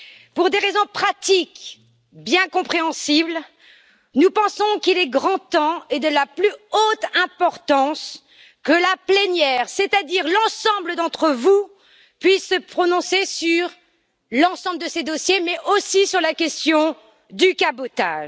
Pour des raisons pratiques bien compréhensibles, nous pensons qu'il est grand temps et de la plus haute importance que la plénière, c'est à dire l'ensemble d'entre vous, puisse se prononcer sur l'ensemble de ces dossiers, mais aussi sur la question du cabotage.